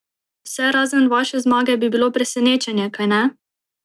Vse razen vaše zmage bi bilo presenečenje, kajne?